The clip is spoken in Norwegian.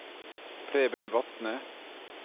Preben Vatne